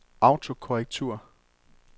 autokorrektur